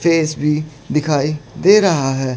Face भी दिखाई दे रहा है।